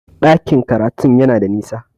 Ɗakin karatun yana da nisa